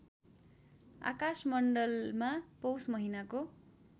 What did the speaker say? आकाशमण्डलमा पौष महिनाको